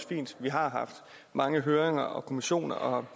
fint vi har haft mange høringer og kommissioner og